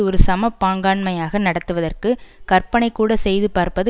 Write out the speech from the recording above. ஒரு சம பங்காண்மையாக நடத்துவதற்கு கற்பனைக்கூட செய்து பார்ப்பது